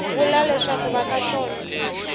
vula leswaku va ka sono